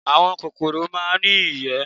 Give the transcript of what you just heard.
Àwọn kòkòrò máa ń ní ìyẹ́